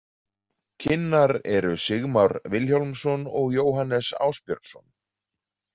Kynnar eru Sigmar Vilhjálmsson og Jóhannes Ásbjörnsson.